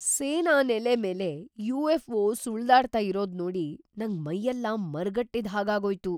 ಸೇನಾನೆಲೆ ಮೇಲೆ ಯು.ಎಫ್.ಒ. ಸುಳ್ದಾಡ್ತಾ ಇರೋದ್ನೋಡಿ ನಂಗ್‌ ಮೈಯೆಲ್ಲ ಮರಗಟ್ಟಿದ್‌ ಹಾಗಾಗೋಯ್ತು.